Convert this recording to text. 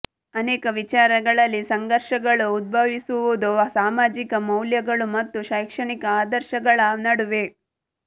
ಅನೇಕ ವಿಚಾರಗಳಲ್ಲಿ ಸಂಘರ್ಷಗಳು ಉದ್ಭವಿಸುವುದು ಸಾಮಾಜಿಕ ಮೌಲ್ಯಗಳು ಮತ್ತು ಶೈಕ್ಷಣಿಕ ಆದರ್ಶಗಳ ನಡುವೆ